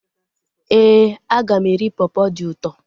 Éè, aga m eri pọpọ dị ụtọ